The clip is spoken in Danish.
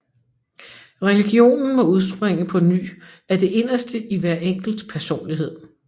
Religionen må udspringe på ny af det inderste i hver enkelt personlighed